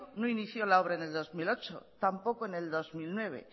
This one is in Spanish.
no inició la obra en el dos mil ocho tampoco en el dos mil nueve